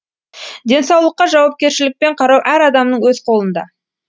денсаулыққа жауапкершілікпен қарау әр адамның өз қолында